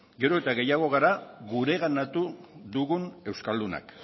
gero eta gehiago gara gureganatu dugun euskaldunak